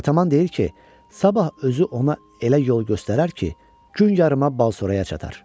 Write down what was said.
Ataman deyir ki, sabah özü ona elə yol göstərər ki, gün yarıma Balsoraya çatar.